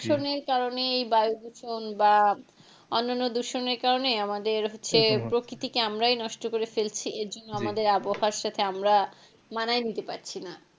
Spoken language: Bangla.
দূষণের কারনে এই বায়ু দূষণ বা অন্যান্য দূষণের কারনে আমাদের হচ্ছে প্রকৃতিকে আমরাই নষ্ট করে ফেলছি এরজন্য আমাদের আবহাওয়ার সাথে আমরা মানায় নিতে পারছিনা,